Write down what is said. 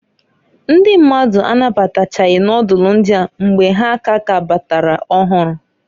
Ndị mmadụ anabatachaghị nodulu ndịa mgbe ha k'kabatara ọhụrụ.